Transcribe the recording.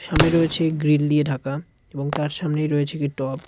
সামনে রয়েছে গ্রিল নিয়ে ঢাকা এবং তার সামনেই রয়েছে একটি টব .